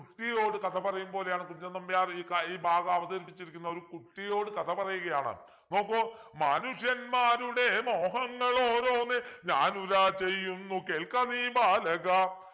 കുട്ടിയോട് കഥ പറയും പോലെയാണ് കുഞ്ചൻ നമ്പ്യാർ ഇ ക ഈ ഭാഗം അവതരിപ്പിച്ചിരിക്കുന്നത് കുട്ടിയോട് കഥ പറയുകയാണ് നോക്കു മാനുഷന്മാരുടെ മോഹങ്ങളോരോന്നേ ഞാനുതാ ചെയ്യുന്നു കേൾക്ക നീ ബാലക